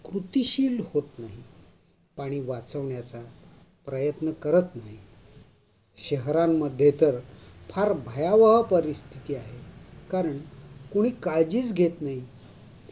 कृतिशील होत नाही, पाणी वाचवण्याचा प्रयत्न करत नाही. शहरांमध्ये तर फार भयावह परिस्थिति आहे कारण, कुणी काळजीच घेत नाही.